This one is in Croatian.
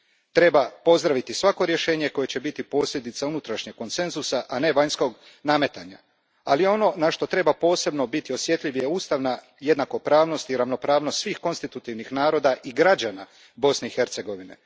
Treba pozdraviti svako rješenje koje će biti posljedica unutrašnjeg konsenzusa, a ne vanjskog nametanja. Ono na što treba biti posebno osjetljiv jest ustavna jednakopravnost i ravnopravnost svih konstitutivnih naroda i građana Bosne i Hercegovine.